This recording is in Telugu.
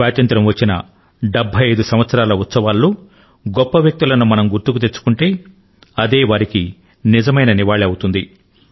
స్వాతంత్య్రం వచ్చిన 75 సంవత్సరాల ఉత్సవాల్లో గొప్ప వ్యక్తులను మనం గుర్తుకు తెచ్చుకుంటే అదే వారికి నిజమైన నివాళి అవుతుంది